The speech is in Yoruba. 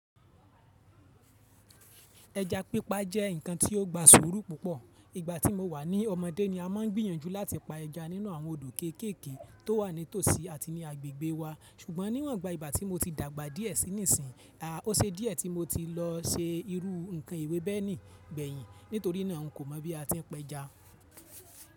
Ẹja pípa jẹ́ ǹkan tí ó gba surú púpọ̀. Ìgbà tí mo wà ní ọmọdé ni a máa ń gbìyànjú láti pa ẹja nínú àwọn odò kéékèèké tó wà nítòsí àti ní agbègbè wa, ṣùgbọ́n níwọ̀n gba ìgbà tí mo ti dàgbà díẹ̀ sí níìsín, a, o se díẹ̀ tí mo ti lọ se irú ǹkan ewẹ́ bẹ́ẹ̀ ní gbẹ̀yin. Nítorína ǹ kò mọ̀ bí a ti ń pẹja.